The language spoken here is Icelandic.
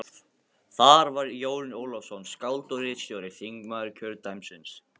Það var Jón Ólafsson, skáld og ritstjóri, þingmaður kjördæmisins.